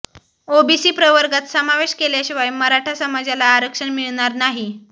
OBC प्रवर्गात समावेश केल्याशिवाय मराठा समाजाला आरक्षण मिळणार नाही